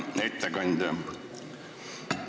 Hea ettekandja!